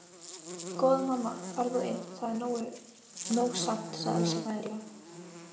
Góða mamma far þú inn, það er nóg samt, sagði Elsa mæðulega.